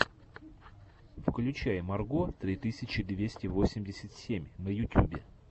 включай марго три тысячи двести восемьдесят семь на ютюбе